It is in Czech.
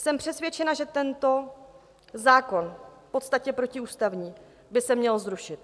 Jsem přesvědčena, že tento zákon, v podstatě protiústavní, by se měl zrušit.